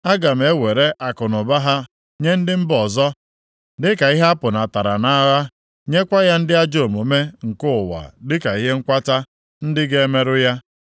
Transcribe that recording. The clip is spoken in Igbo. Aga m ewere akụnụba ha nye ndị mba ọzọ dịka ihe apụnatara nʼagha, nyekwa ya ndị ajọ omume nke ụwa dịka ihe nkwata ndị ga-emerụ ya.